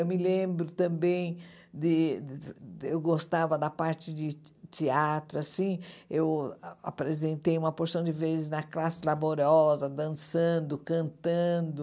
Eu me lembro também de... eu gostava da parte de teatro, assim, eu apresentei uma porção de vezes na classe laboriosa, dançando, cantando,